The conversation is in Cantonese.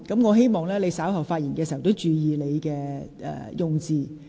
我希望你稍後發言時注意用詞。